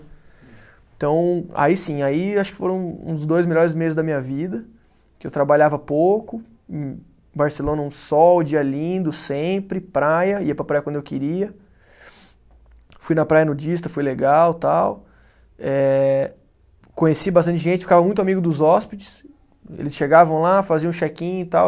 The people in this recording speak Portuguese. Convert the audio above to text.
Então, aí sim, aí acho que foram uns dois melhores meses da minha vida, que eu trabalhava pouco, em Barcelona um sol, dia lindo sempre, praia, ia para a praia quando eu queria, fui na praia nudista, foi legal e tal, eh conheci bastante gente, ficava muito amigo dos hóspedes, eles chegavam lá, faziam check-in e tal,